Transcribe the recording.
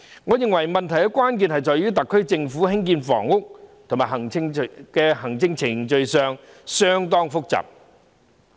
我認為問題關鍵在於特區政府在興建房屋方面的行政程序相當複雜。